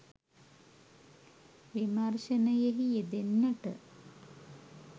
විමර්ශනයෙහි යෙදෙන්නට